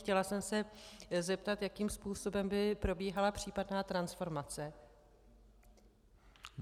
Chtěla jsem se zeptat, jakým způsobem by probíhala případná transformace.